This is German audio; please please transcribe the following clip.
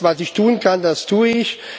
Das, was ich tun kann, das tue ich.